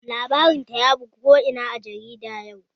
Labarin ta ya bazu ko ina a jarida yau